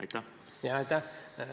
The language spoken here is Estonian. Aitäh!